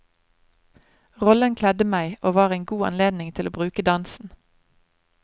Rollen kledde meg og var en god anledning til å bruke dansen.